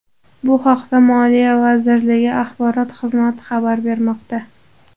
Bu haqda Moliya vazirligi Axborot xizmati xabar bermoqda .